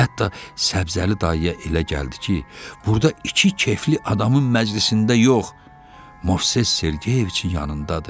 Hətta Səbzəli dayıya elə gəldi ki, burda iki kefli adamın məclisində yox, Movses Sergeyiçin yanındadır.